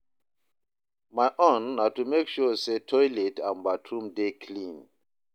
my own na to mek sure say toilet and bathroom dey clean